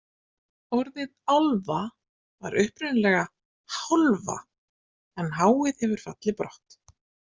Orðið álfa var upprunalega hálfa en h-ið hefur fallið brott.